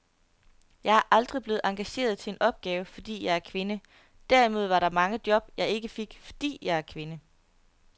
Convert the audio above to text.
Jeg er aldrig blevet engageret til en opgave, fordi jeg er kvinde, derimod var der mange job, jeg ikke fik, fordi jeg er kvinde.